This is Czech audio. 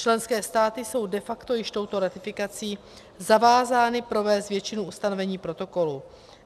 Členské státy jsou de facto již touto ratifikací zavázány provést většinu ustanovení protokolu.